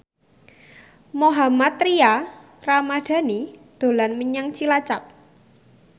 Mohammad Tria Ramadhani dolan menyang Cilacap